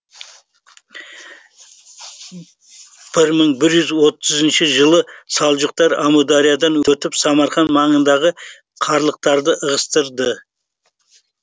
бір мың бір жүз отызыншы жылы салжұқтар әмудариядан өтіп самарқан маңындағы қарлықтарды ығыстырды